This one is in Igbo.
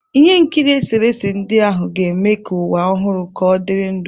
Ihe nkiri eserese ndị ahụ ga-eme ka ụwa ọhụrụ ka ọdịrị ndụ.